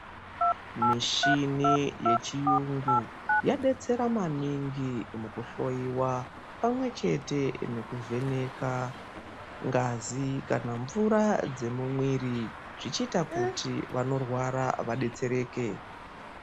Mishini yechiyungu yabetsera maningi mukuhloiwa pamwechete nekuvheneka ngazi kana mvura dzemumwiri, zvichiita kuti vanorwara vabetsereke.